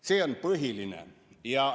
See on põhiline.